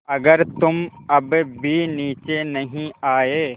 अगर तुम अब भी नीचे नहीं आये